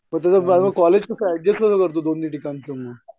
मग तुझं कॉलेजचं ऍडजस्ट कसा करतो तू दोन्ही ठिकाणचं तू?